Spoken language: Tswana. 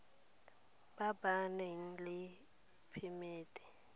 ba ba nang le phemiti